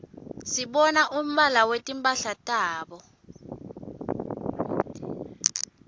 sibona umbala wetimphala tabo